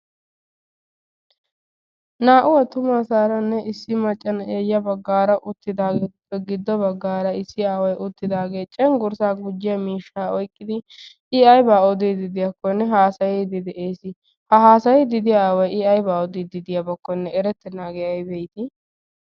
Naa''u attumasaranne issi maccaa na'iyaa uttidaarippe ya baggaara issi aaway uttidaagee cenggurssa gujjiya miishsha oyqqidi I aybba odidde de'iyakkonne haassayddi de'ees. ha haassayddi de'iya aaway I aybba odiidi de'iyabakkonne erettenaagee aybba iiti.